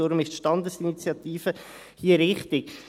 Deshalb ist die Standesinitiative hier richtig.